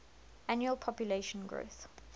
annual population growth